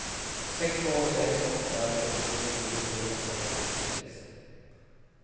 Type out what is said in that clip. sex två sex åtta sjuttionio trehundrasjuttiosex